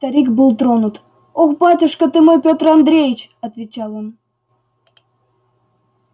старик был тронут ох батюшка ты мой пётр андреич отвечал он